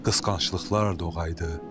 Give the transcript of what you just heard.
Qısqanclıqlar doğaydı.